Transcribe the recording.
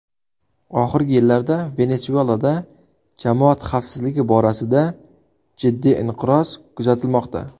Oxirgi yillarda Venesuelada jamoat xavfsizligi borasida jiddiy inqiroz kuzatilmoqda.